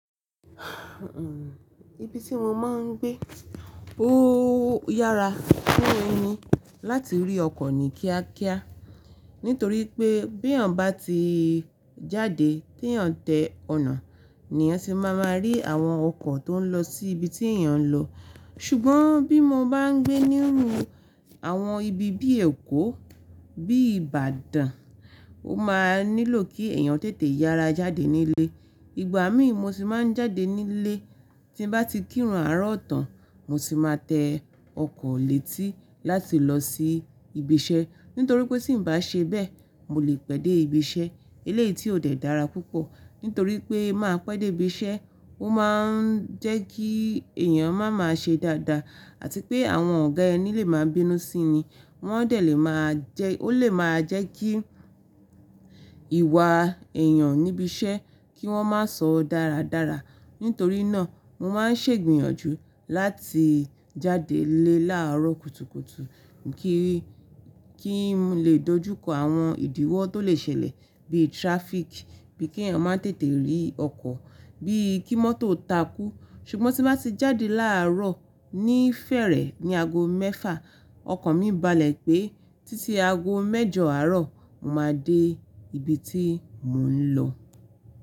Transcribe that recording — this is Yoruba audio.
Ibi tí mo máa ń gbé ó yára fún ẹni láti rí ọkọ̀ nì kíákíá nítorí pé bí èèyàn bá ti jáde tí èèyàn tẹ ọ̀nà, niyàn tì máa máa rí àwọn ọkọ̀ tó ń lọ sí ibi tí èèyàn ń lọ. Ṣùgbọ́n bí mo bá ń gbé ní ru àwọn ibi bíi Èkó, bíi Ìbàdàn, ó máa nílò kí èèyàn tètè yára jáde nílé. Ìgbà mí mo tì máa ń jáde nílé tí bá ti kírun àárọ̀ tán, mo tì máa tẹ ọkọ̀ létí láti lọ sí ibi iṣẹ́ nítorí pé tí ń bá ṣe bẹ́ẹ̀, mo lè pèdè ibi iṣẹ́ eléyìí tí ò dẹ́ dára púpọ̀ nítorí pé má pèdè ibi iṣẹ́ ó máa ń jẹ́ kí èèyàn máa máa ṣe dáadáa àti pé àwọn ọ̀gá ẹni lè máa bínú sí ni. Wọ́n dẹ̀ lè máa jẹ́-- ó lè máa jẹ́ kí ìwà èèyàn níbi iṣẹ́ kí wọ́n má sọ dáradára. Nítorí náà mo máa ń ṣègbìyànjú láti jáde nlé láàárọ̀ kùtùkùtù kí-kí n lè dojú kọ àwọn ìdíwọ́ tó lè ṣẹlẹ̀ bí traffic, bí kí èèyàn máa tètè rí ọkọ̀, bí kí mọ́tò takú. Ṣùgbọ́n tí bá ti jáde láàárọ̀ ní fẹ́ẹ̀rẹ̀ ní ago mẹ́fà, ọkọ̀ mi balẹ̀ pé títí ago mẹ́jọ àárọ̀ mo máa dé ibi tí mò ń lọ.